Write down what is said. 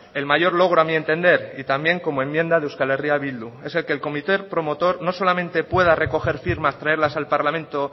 el mayor logro a mi entender y también como enmienda de euskal herria bildu es el que el comité promotor no solamente pueda recoger firmas traerlas al parlamento